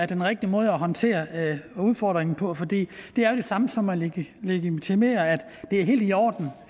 den rigtige måde at håndtere udfordringen på for det er det samme som at legitimere at det er helt i orden